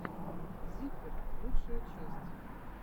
зиппер лучшая часть